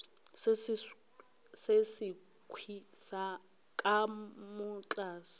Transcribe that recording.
se sekhwi ka mo tlase